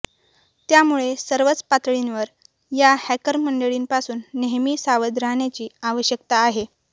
त्यामुळे सर्वच पातळींवर या हॅकर मंडळींपासून नेहमी सावध राहण्याची आवश्यकता आहे